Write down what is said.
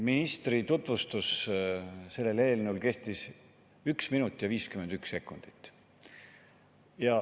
Ministri selle eelnõu tutvustus kestis 1 minut ja 51 sekundit.